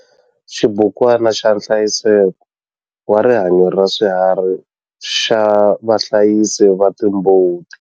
Xibukwana xa nhlayiseko wa rihanyo ra swiharhi xa vahlayisi va timbuti.